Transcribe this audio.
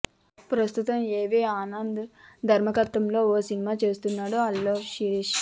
ప్రస్తుతం ఏవి ఆనంద్ దర్శకత్వంలో ఓ సినిమా చేస్తున్నాడు అల్లు శిరీష్